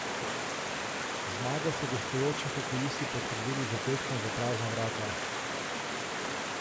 Zmago so gostujoči hokejisti potrdili z zadetkom v prazna vrata.